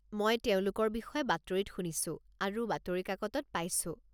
মই তেওঁলোকৰ বিষয়ে বাতৰিত শুনিছো আৰু বাতৰি কাকতত পাইছো।